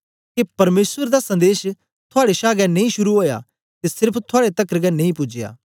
के परमेसर दा संदेश थुआड़े छा गै नेई शुरू ओया ते सेर्फ थुआड़े तकर गै नेई पूजया